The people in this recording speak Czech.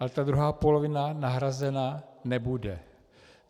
A ta druhá polovina nahrazena nebude.